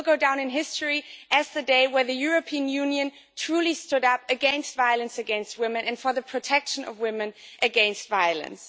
It will go down in history as the day when the European Union truly stood up against violence against women and for the protection of women against violence.